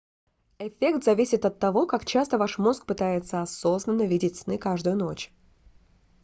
эффект зависит от того как часто ваш мозг пытается осознанно видеть сны каждую ночь